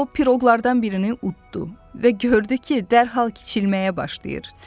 O piroqlardan birini uddo və gördü ki, dərhal kiçilməyə başlayır.